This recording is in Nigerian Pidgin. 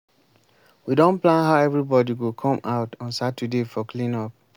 we don plan how everybody go come out on saturday for clean up